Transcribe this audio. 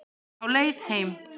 Á leið heim